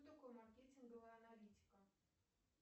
что такое маркетинговая аналитика